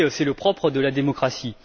C'est le propre de la démocratie.